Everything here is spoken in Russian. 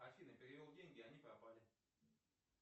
афина перевел деньги а они пропали